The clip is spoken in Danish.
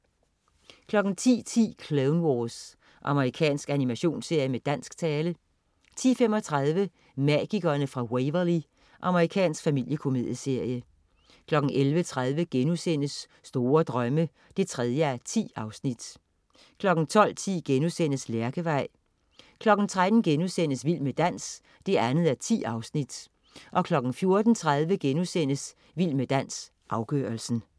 10.10 Clone Wars. Amerikansk animationsserie med dansk tale 10.35 Magikerne fra Waverly. Amerikansk familiekomedieserie 11.30 Store Drømme 3:10* 12.10 Lærkevej* 13.00 Vild med dans 2:10* 14.30 Vild med dans, afgørelsen*